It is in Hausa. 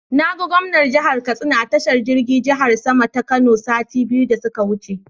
Na ga gwamnan jihar Katsina a tashar jirgin jihar sama ta Kano sati biyu da su ka wuce.